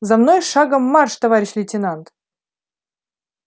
за мной шагом марш товарищ лейтенант